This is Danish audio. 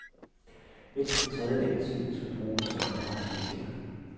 Mindst en tredjedel af tiden skal bruges til andre aktiviteter.